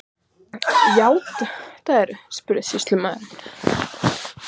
Játarðu, spurði sýslumaður.